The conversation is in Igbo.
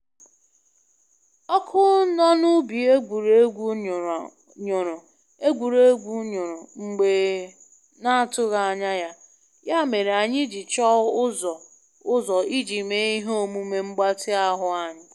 Ọkụ nọ na ubi egwuregwu nyụrụ egwuregwu nyụrụ mgbe na atụghị anya ya, ya mere anyị ji chọọ ụzọ ọzọ iji mee ihe omume mgbatị ahụ anyị